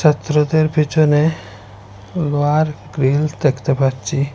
ছাত্রদের পিছনে লোহার গ্রীল দেখতে পাচ্ছি।